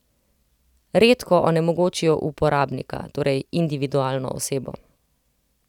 Redko onemogočijo uporabnika, torej individualno osebo.